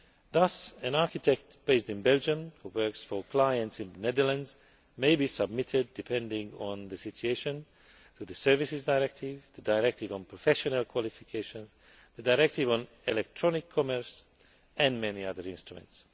Thus an architect based in Belgium who works for clients in the Netherlands may be subject, depending on the situation, to the Services Directive, the directive on professional qualifications, the directive on electronic commerce and many other instruments.